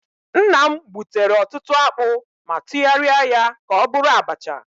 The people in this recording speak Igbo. Nna m gbutere ọtụtụ akpụ ma tụgharịa ya ka ọ bụrụ abacha